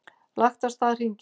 Lagt af stað hringinn